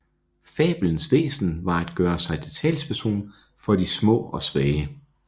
Fabelens væsen var at gøre sig til talsperson for de små og svage